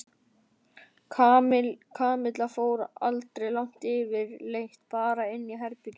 Kamilla fór aldrei langt yfirleitt bara inn í herbergið sitt.